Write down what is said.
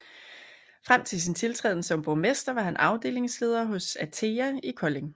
Frem til sin tiltræden som borgmester var han afdelingsleder hos ATEA i Kolding